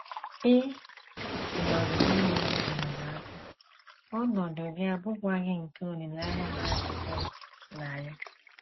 Ị nọghị n’enweghị enyemaka, ọnọdụ gị abụghịkwa nke olileanya na - adịtụghị na ya.